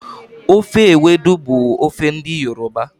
Ofe ewedu bụ ofe ndị Yoruba.